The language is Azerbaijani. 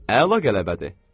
Əla qələbə.